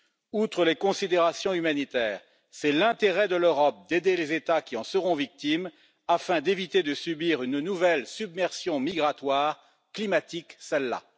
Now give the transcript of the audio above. Outre les considérations humanitaires, il est dans l'intérêt de l'Europe d'aider les États qui en seront victimes afin d'éviter de subir une nouvelle submersion migratoire, climatique celle là.